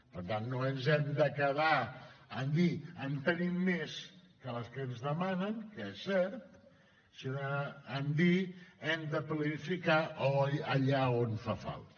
per tant no ens hem de quedar en dir en tenim més que les que ens demanen que és cert sinó en dir hem de planificar allà on fa falta